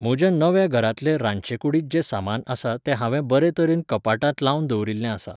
म्हज्या नव्या घरांतले रांदचेकूडींत जे सामान आसा तें हांवें बरें तरेन कपाटांत लावन दवरिल्लें आसा